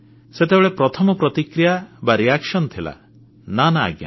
ସେତେବେଳେ ପ୍ରଥମ ପ୍ରତିକ୍ରିୟା ବା ରିଆକ୍ସନ୍ ଥିଲା ନା ନା ଆଜ୍ଞା